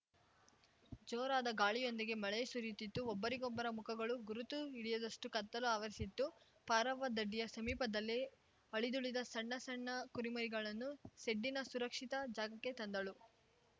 ಜೋರಾದ ಗಾಳಿಯೊಂದಿಗೆ ಮಳೆ ಸುರಿಯುತಿತ್ತುಒಬ್ಬರಿಗೊಬ್ಬರ ಮುಖಗಳು ಗುರುತು ಹಿಡಿಯದಷ್ಟುಕತ್ತಲು ಆವರಿಸಿತ್ತುಪಾರವ್ವ ದಡ್ಡಿಯ ಸಮೀಪದಲ್ಲೇ ಅಳಿದುಳಿದ ಸಣ್ಣ ಸಣ್ಣ ಕುರಿಮರಿಗಳನ್ನು ಸೆಡ್ಡಿನ ಸುರಕ್ಪಿತ ಜಾಗಕ್ಕೇ ತಂದಳು